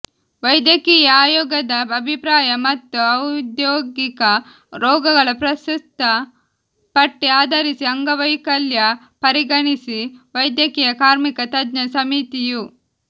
ವೈದ್ಯಕೀಯ ಆಯೋಗದ ಅಭಿಪ್ರಾಯ ಮತ್ತು ಔದ್ಯೋಗಿಕ ರೋಗಗಳ ಪ್ರಸ್ತುತ ಪಟ್ಟಿ ಆಧರಿಸಿ ಅಂಗವೈಕಲ್ಯ ಪರಿಗಣಿಸಿ ವೈದ್ಯಕೀಯ ಕಾರ್ಮಿಕ ತಜ್ಞ ಸಮಿತಿಯು